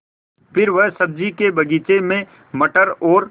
फिर वह सब्ज़ी के बगीचे में मटर और